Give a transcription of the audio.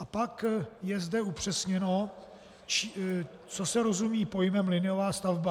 A pak je zde upřesněno, co se rozumí pojmem liniová stavba.